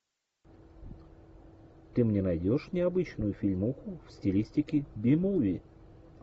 ты мне найдешь необычную фильмуху в стилистике би муви